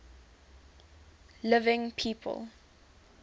living people